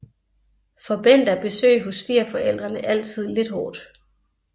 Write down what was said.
For Bent er besøg hos svigerforældrene altid lidt hårdt